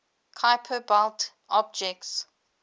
kuiper belt objects